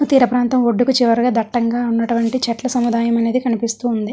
తీర ప్రాంతం ఒడ్డుకు చివరగా దట్టంగా ఉన్నటువంటి చెట్ల సముదాయం అనేది కనిపిస్తుంది.